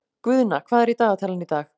Guðna, hvað er í dagatalinu í dag?